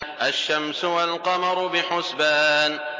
الشَّمْسُ وَالْقَمَرُ بِحُسْبَانٍ